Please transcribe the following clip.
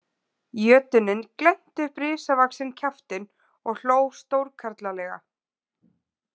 Jötunninn glennti upp risavaxinn kjaftinn og hló stórkarlalega.